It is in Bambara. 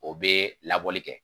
O be labɔli kɛ.